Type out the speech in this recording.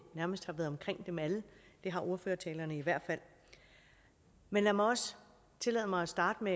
nærmest har været omkring dem alle det har ordførertalerne i hvert fald men lad mig også tillade mig at starte med